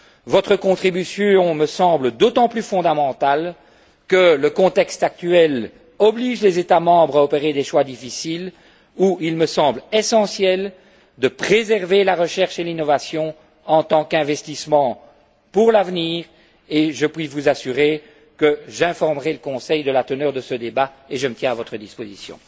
Votre contribution me semble d'autant plus fondamentale que le contexte actuel oblige les États membres à opérer des choix difficiles où il me semble essentiel de préserver la recherche et l'innovation en tant qu'investissement pour l'avenir, et je puis vous assurer que j'informerai le Conseil de la teneur de ce débat et je me tiens à votre disposition.